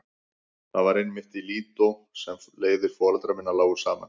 Það var einmitt í Lídó sem leiðir foreldra minna lágu saman.